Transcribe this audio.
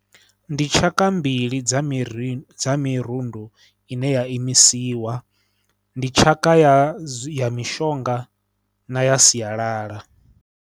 Ndi tshaka mbili dza miri dza mirundu ine ya imisiwa, ndi tshaka ya ya mishonga na ya sialala.